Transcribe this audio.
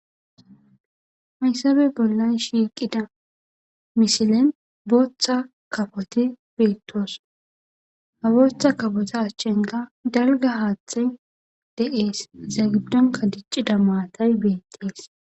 hayssabe bollay shiiqida misilen booththa kafoti beettoos haboththa kapota ashchenka dalga haaththe de7ees za giddonka diccida maatay beettees